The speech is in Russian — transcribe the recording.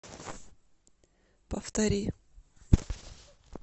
повтори